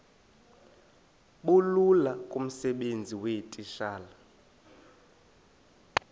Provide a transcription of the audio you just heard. bulula kumsebenzi weetitshala